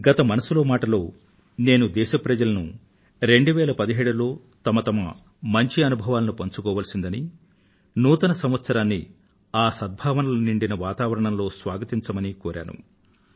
గత మనసులో మాట లో నేను దేశ ప్రజలను 2017లో వారి వారి యొక్క మంచి అనుభవాలను పంచుకోవలసిలందని ఆ సద్భావనలు నిండిన వాతావరణంలో 2018 ని స్వాగతించవలసిందని కోరాను